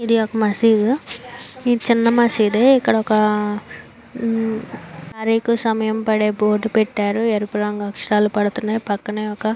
ఇది ఒక్క మస్జీద్ ఇది చిన్న మస్జీద్ ఇక్కడ ఒక అరకు సమయం పడే బోర్డు పెట్టారు. ఎరుపు రంగు అక్షరాలు పడుతున్నాయి. పక్కనే ఒక --